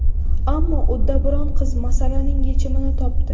Ammo uddaburon qiz masalaning yechimini topdi.